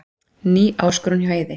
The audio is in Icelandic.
Ný áskorun hjá Eiði